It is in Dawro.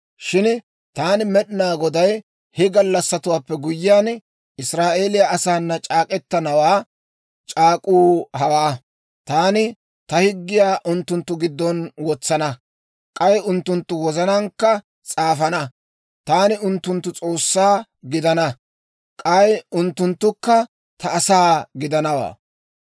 Shin taani Med'inaa Goday he gallassatuwaappe guyyiyaan Israa'eeliyaa asaanna c'aak'k'etana c'aak'k'uu hawaa: taani ta higgiyaa unttunttu giddon wotsana; k'ay unttunttu wozanaankka s'aafana. Taani unttunttu S'oossaa gidana; k'ay unttunttukka ta asaa gidana.